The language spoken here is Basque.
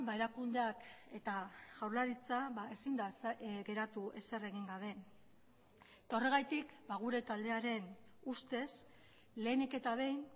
erakundeak eta jaurlaritza ezin da geratu ezer egin gabe eta horregatik gure taldearen ustez lehenik eta behin